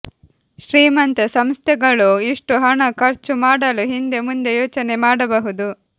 ಶ್ರೀಮಂತ ಸಂಸ್ಥೆಗಳೂ ಇಷ್ಟು ಹಣ ಖರ್ಚು ಮಾಡಲು ಹಿಂದೆ ಮುಂದೆ ಯೋಚನೆ ಮಾಡಬಹುದು